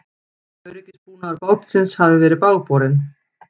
Öryggisbúnaður bátsins hafi verið bágborinn